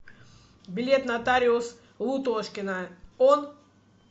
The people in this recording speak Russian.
билет нотариус лутошкина он